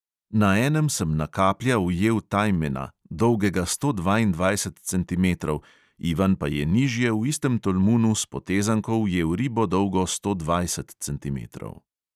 Na enem sem na kaplja ujel tajmena, dolgega sto dvaindvajset centimetrov, ivan pa je nižje v istem tolmunu s potezanko ujel ribo, dolgo sto dvajset centimetrov.